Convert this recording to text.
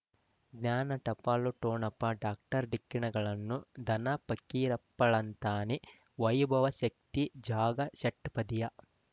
ಜ್ಞಾನ ಟಪಾಲು ಠೊಣಪ ಡಾಕ್ಟರ್ ಢಿಕ್ಕಿ ಣಗಳನು ಧನ ಪಕೀರಪ್ಪ ಳಂತಾನೆ ವೈಭವ್ ಶಕ್ತಿ ಜಾಗಾ ಷಟ್ಪದಿಯ